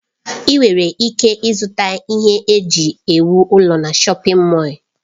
Ị nwere ike ịzụta ihe eji ewu ụlọ na shọpin Mọll.